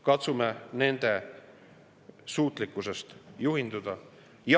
Katsume nende suutlikkusest juhinduda.